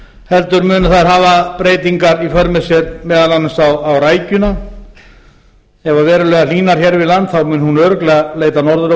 heldur munu þær hafa breytingar í för með sér meðal annars á rækjuna ef verulega hlýnar hér við land mun hún örugglega leita norður á